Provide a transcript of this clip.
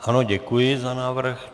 Ano, děkuji za návrh.